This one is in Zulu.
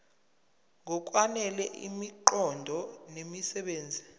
ngokwanele imiqondo nemisebenzi